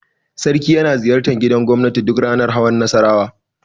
Sarki yana ziyartar gidan gobnati duk ranar hawan Nassarawa.